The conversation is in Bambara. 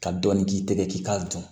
Ka dɔɔnin k'i tɛgɛ k'i k'a dun